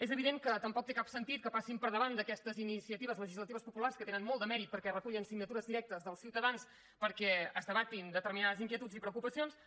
és evident que tampoc té cap sentit que passin per davant d’aquestes iniciatives legislatives populars que tenen molt de mèrit perquè recullen signatures directes dels ciutadans perquè es debatin determinades inquietuds i preocupacions